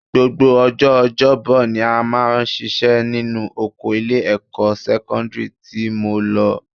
Gbogbo ọjọ́ ọjọ́bọ ni a máa ṣiṣẹ́ nínú oko ilé-ẹ̀kọ́ sẹ́kọ́ndírì tí mo lọ